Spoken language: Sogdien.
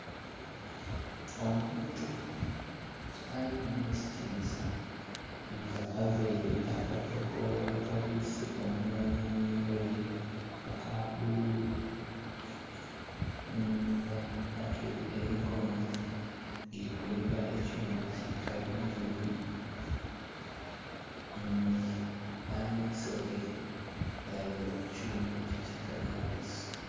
Omuntu ali munzikiriza nga avaire akakokolo akabwiise omunhwa n'enhindho ye akabbululu nga atweire emikono girikuniga ekyuma kikalimagezi nga n'amaiso ge galinze kukyuma ekyo kikalimagezi.